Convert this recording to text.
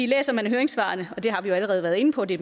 læser man høringssvarene og det har vi allerede været inde på det